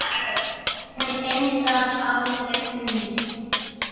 Hún undrast aldrei um mig.